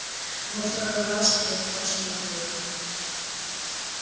во второй раз тебя просто убьют